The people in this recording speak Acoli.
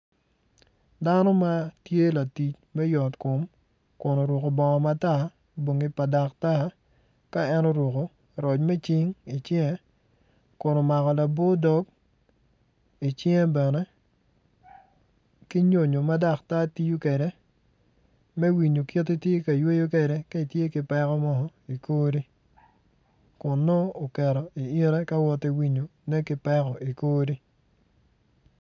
Dano ma tye latic me yot kom kun oruku bongo matar bongi pa daktar ka en oruku roc mi cing i cinge kun omako labo dog icinge bene ki nyonyo ma daktar tiyo kede mi winyo kiti i tye ka yweyo kede ka itye ki peko mo ikori kun nongo uketo i ite ka woti winyone ki peko ikori